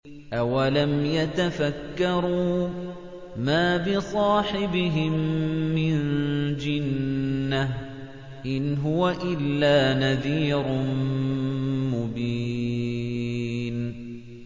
أَوَلَمْ يَتَفَكَّرُوا ۗ مَا بِصَاحِبِهِم مِّن جِنَّةٍ ۚ إِنْ هُوَ إِلَّا نَذِيرٌ مُّبِينٌ